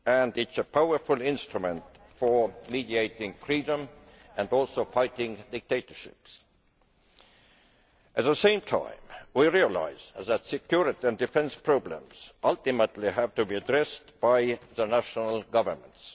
It is a powerful instrument for mediating freedom and also fighting dictatorships. At the same time, we realise that security and defence problems ultimately have to be addressed by the national governments.